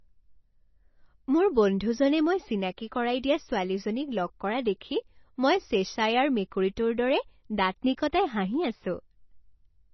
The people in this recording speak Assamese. মোৰ বন্ধুজনে মই চিনাকী কৰাই দিয়া ছোৱালীজনীক লগ কৰা দেখি মই চেশ্বায়াৰ মেকুৰীটোৰ দৰে দাঁত নিকটাই হাঁহি আছোঁ।